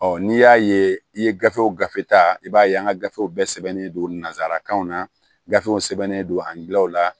n'i y'a ye i ye gafew gafe ta i b'a ye an ka gafew bɛɛ sɛbɛnnen don nazarakanw na gafew sɛbɛnnen don ani gilaw la